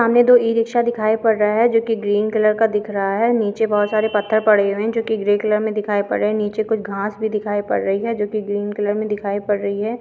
सामने दो e rickshaw दिखाई पड़ रहा हैं जोकी ग्रीन कलर का दिख रहा है नीचे बहोत सारे पत्थर पड़े हुए हैं जोकी ग्रे कलर मे दिखाई पड़ रहे हैं नीचे कोई घास भी दिखाई पड़ रही है जोकी ग्रीन कलर मे दिखाई पड़ रही है।